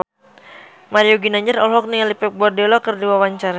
Mario Ginanjar olohok ningali Pep Guardiola keur diwawancara